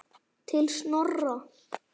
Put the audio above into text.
Til Snorra.